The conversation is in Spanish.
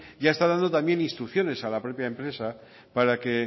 ya está dando también instrucciones a la propia empresa para que